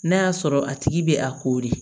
N'a y'a sɔrɔ a tigi bɛ a ko de